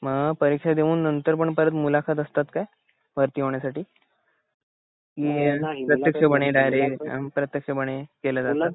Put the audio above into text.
मग परीक्षा देऊन नंतरपण मुलाखत असतात काय भरती होण्यासाठी ये प्रत्यक्षपने डायरेक्ट अप्रत्यक्षपणे केलं जात